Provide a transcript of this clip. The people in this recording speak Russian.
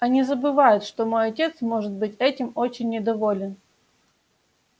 они забывают что мой отец может быть этим очень недоволен